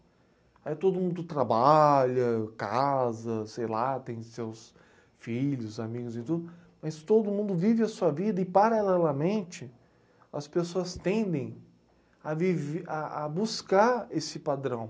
Aí todo mundo trabalha, casa, sei lá, tem seus filhos, amigos e tudo, mas todo mundo vive a sua vida e, paralelamente, as pessoas tendem a viv a a buscar esse padrão.